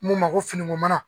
Mun ma ko finiko mana